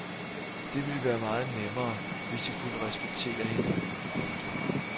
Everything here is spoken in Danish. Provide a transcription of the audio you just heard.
Det ville være meget nemmere hvis de kunne respektere hinanden. punktum